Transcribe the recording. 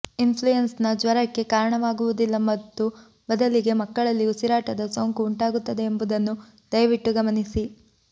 influenza ಜ್ವರಕ್ಕೆ ಕಾರಣವಾಗುವುದಿಲ್ಲ ಮತ್ತು ಬದಲಿಗೆ ಮಕ್ಕಳಲ್ಲಿ ಉಸಿರಾಟದ ಸೋಂಕು ಉಂಟಾಗುತ್ತದೆ ಎಂಬುದನ್ನು ದಯವಿಟ್ಟು ಗಮನಿಸಿ